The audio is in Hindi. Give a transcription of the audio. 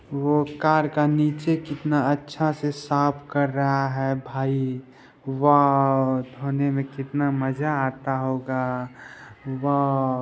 वो कार का नीचे कितना अच्छा से साफ कर रहा है भाई वाव धोने में कितना मजा आता होगा वाव